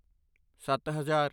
ਸੱਤ ਹਜ਼ਾਰ